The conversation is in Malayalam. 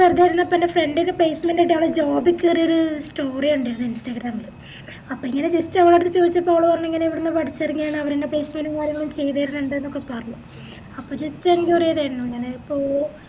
വെറുതേരിന്നപ്പന്റെ friend placement ആയിറ്റ് അവിടെ job കേറിയൊരു story കണ്ടിരുന്നു instagram ല് അപ്പൊ ഇങ്ങനെ just അവളോട്‌ ഇത് ചോയ്ച്ചപ്പോ അവള് പറഞ്ഞിങ്ങനെ ഇവിടുന്ന് പടിച്ചെറങ്ങിയാണ് അവരെന്നെ placement ഉം കാര്യങ്ങളും ചെയ്തെരലിൻഡ്ന്നൊക്കെ പറഞ്ഞു അപ്പൊ ഞാന്